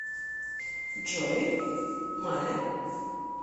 джой мае